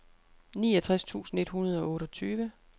niogtres tusind et hundrede og otteogtyve